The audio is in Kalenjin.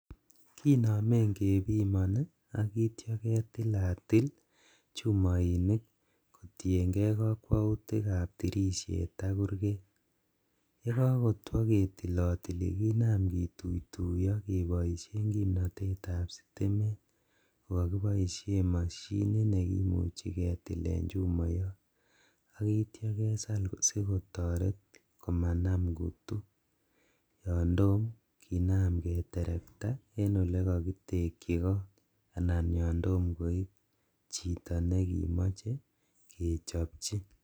Kinomen kepimoni ak ityo ketilatil chumoinik kotienkei kokwoutikab tirishet ak kurget, ye kakotwo ketilotili kinam kituituiyo keboisien kimnotetab sitimet ko kakiboisie mashinit ne kimuji ketilen chumoyot ak ityo kesal sikotoret komanam kutu yon tom kinam keterekta en ole kakitekyi goot anan yom tom koip chito ne kimoche kechopchi.